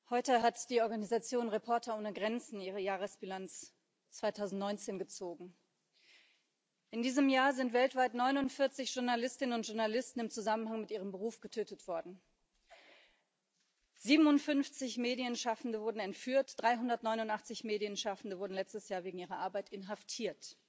Frau Präsidentin! Heute hat die Organisation Reporter ohne Grenzen ihre Jahresbilanz 2019 gezogen. In diesem Jahr sind weltweit 49 Journalistinnen und Journalisten im Zusammenhang mit ihrem Beruf getötet worden, 57 Medienschaffende wurden entführt, 389 Medienschaffende wurden letztes Jahr wegen ihrer Arbeit inhaftiert.